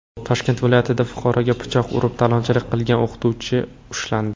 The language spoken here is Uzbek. Toshkent viloyatida fuqaroga pichoq urib talonchilik qilgan o‘quvchi ushlandi.